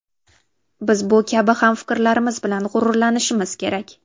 Biz bu kabi hamfikrlarimiz bilan g‘ururlanishimiz kerak.